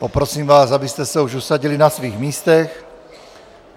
Poprosím vás, abyste se už usadili na svých místech.